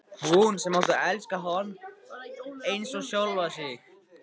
Hún sem átti að elska hann eins og sjálfa sig.